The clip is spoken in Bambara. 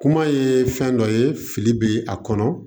Kuma ye fɛn dɔ ye fili bɛ a kɔnɔ